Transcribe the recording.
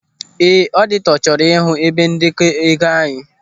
Ee, ọditọ chọrọ ịhụ ebe ndekọ ego anyị.